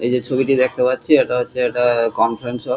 এই যে ছবিটি দেখতে পাচ্ছি ইটা হচ্ছে একটা কনফারেন্স হল--